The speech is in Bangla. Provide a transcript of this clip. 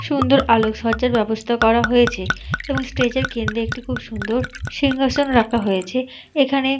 সুন্দর আলোকসজ্জার ব্যবস্থা করা হয়েছে এবং স্টেজ এর কেন্দ্রে একটি খুব সুন্দর সিংহাসন রাখা হয়েছে এখানে--